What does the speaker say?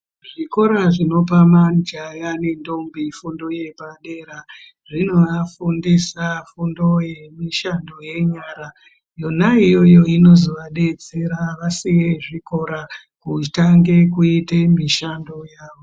Zvikora zvinopa majaya nentombi fundo yepadera zvinovafundisa fundo yemishando yenyara yona iyoyo inozovabetsera vasiye zvikora kutange kuite mishando yavo.